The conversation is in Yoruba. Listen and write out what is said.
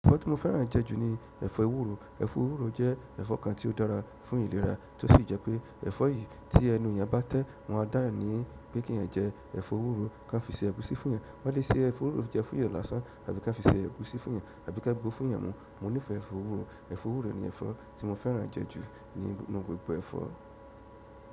Ẹ̀fọ́ tí mo fẹ́ràn jẹ́ jù ní ẹ̀fọ́ ewúro. Ẹ̀fọ́ ewúro jẹ́ ẹ̀fọ́ kan tí ó dára fún ìlera, tó sì jẹ́ pé ẹ̀fọ́ yìí tí ẹnu ènìyàn bá tẹ́, wọn a dáà ní pé kí ẹ̀ jẹ ẹ̀fọ́ ewúro kán fi ṣe ẹ̀gúsí fún eeyan. Wọ́n lè se ẹ̀fọ́ ewúro jẹ fún eeyan láṣan àbí ká fi ṣe ẹ̀gúsí fún eeyan àbí kán gbó fún eeyan mu. Mo nífẹ̀ẹ́ ẹ̀fọ́ ewúro. Ẹ̀fọ́ ewúro ni ẹ̀fọ́ tí mo fẹ́ràn jẹ́ jù ní nínú gbogbo ẹ̀fọ́.